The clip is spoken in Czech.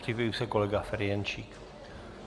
Připraví se kolega Ferjenčík.